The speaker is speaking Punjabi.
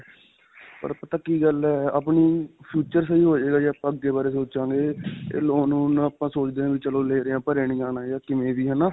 ਪਰ ਪਤਾ ਕੀ ਗੱਲ ਹੈ. future ਸਹੀ ਹੋਜੇਗਾ, ਜੇ ਆਪਾਂ ਅੱਗੇ ਬਾਰੇ ਸੋਚਾਂਗੇ. ਇਹ loan ਲੂਣ ਆਪਾਂ ਸੋਚਦੇ ਹਾਂ ਵੀ ਚਲੋ ਲੇ ਰਹੇ ਹਾਂ ਭਰਿਆਂ ਨਹੀਂ ਜਾਣਾ ਜਾਂ ਕਿਵੇਂ ਵੀ ਹੈ ਨਾ.